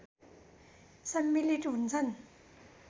सम्मिलित हुन्छन्